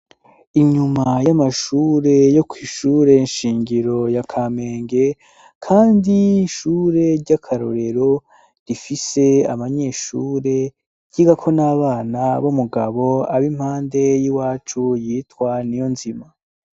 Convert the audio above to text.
Inyuma y'amashure yo kw'ishure nshingiro ya kamenge ,kandi ishure ry'akarorero rifise amanyeshure, ryigako n'abana b'umugabo ab' impande y'iwacu yitwa Niyonzima.